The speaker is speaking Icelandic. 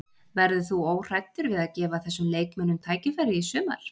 Verður þú óhræddur við að gefa þessum leikmönnum tækifæri í sumar?